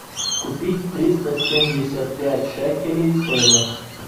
купить триста семьдесят пять шекелей стоимость